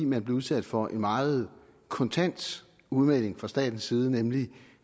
man blev udsat for en meget kontant udmelding fra statens side nemlig